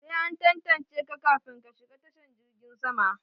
Sai an tantance ka kafin ka shiga tashan girgin sama.